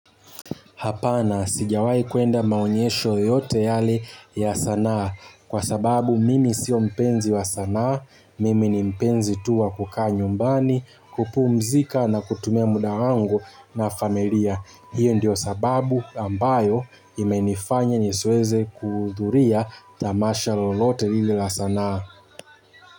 Hapana, sijawahi kuenda maonyesho yoyote yale ya sanaa, kwa sababu mimi sio mpenzi wa sanaa, mimi ni mpenzi tu wa kukaa nyumbani, kupumzika na kutumia muda wangu na familia. Hiyo ndio sababu ambayo imenifanya nisiweze kuhudhuria tamasha lolote hili la sanaa.